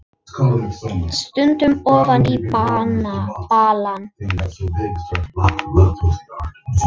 Stundi ofan í balann.